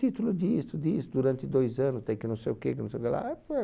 Título disto, disto, durante dois anos, tem que não sei o que, que não sei o que lá.